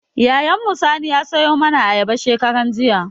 Yayan mu Sani ya sayo mana ayaba shekaran jiya